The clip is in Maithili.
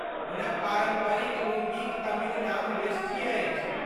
हुनक पारम्परिक लुंगीक तमिल नाम वेष्टी अछि।